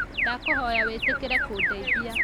Ndakũhoya wĩtĩkĩre kũndeithia